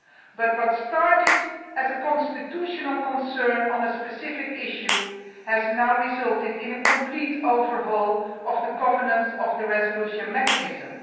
But what started as a constitutional concern over a specific issue has now resulted in a complete overhaul of the governance of the resolution mechanism.